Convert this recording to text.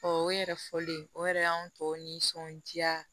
o yɛrɛ fɔlen o yɛrɛ y'an tɔw nisɔndiya